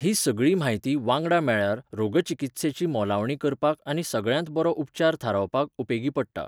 ही सगळी म्हायती, वांगडा मेळ्ळ्यार, रोगचिकित्सेची मोलावणी करपाक आनी सगळ्यांत बरो उपचार थारावपाक उपेगी पडटा.